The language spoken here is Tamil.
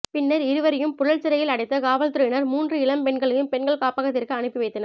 பின்னர் இருவரையும் புழல் சிறையில் அடைத்த காவல்துறையினர் மூன்று இளம் பெண்களையும் பெண்கள் காப்பகத்திற்கு அனுப்பி வைத்தனர்